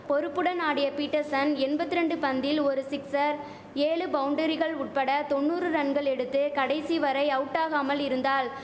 பொறுப்புடன் ஆடிய பீட்டர்சன் எண்பத்திரண்டு பந்தில் ஒரு சிக்சர் ஏழு பவுண்டரிகள் உட்பட தொண்ணூறு ரன்கள் எடுத்து கடைசி வரை அவுட்டாகாமல் இருந்தாள்